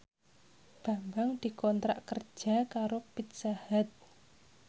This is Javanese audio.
Bambang dikontrak kerja karo Pizza Hut